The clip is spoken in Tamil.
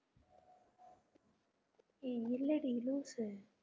ஏ இல்லடி லூசு